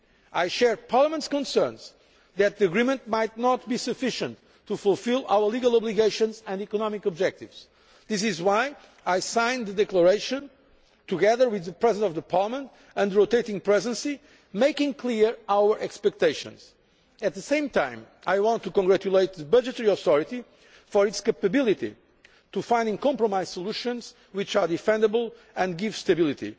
I share Parliament's concerns that the agreement might not be sufficient to fulfil our legal obligations and economic objectives. That is why I signed a declaration, together with the President of the Parliament and the rotating Presidency, making clear our expectations. At the same time, I want to congratulate the budgetary authority for its capability in finding compromise solutions which are defendable and give stability.